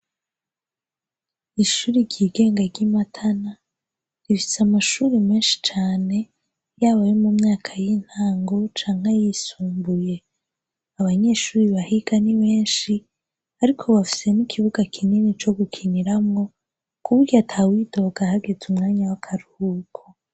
Ishuri ryigenga ry'i Matana, rifise amashuri meshi cane, yaba ayo mu myaka y'intango canke ayisumbuye. Abanyeshure bahiga ni benshi, ariko bafise n'ikibuga kinini co gukiniramwo, kuburyo atawidoga hageze umwanya w'akaruhuko.